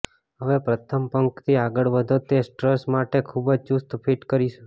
હવે પ્રથમ પંક્તિ આગળ વધો તે સ્ટ્રટ્સ માટે ખૂબ જ ચુસ્ત ફિટ કરીશું